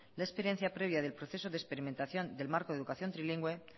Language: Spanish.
la experiencia previa del proceso de experimentación del marco de educación trilingüe